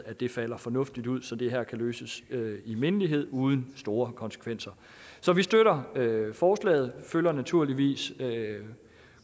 at det falder fornuftigt ud så det her kan løses i mindelighed uden store konsekvenser så vi støtter forslaget og følger naturligvis